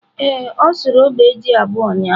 Ee, o surụ ogbe ji abuọ ụyaahụ.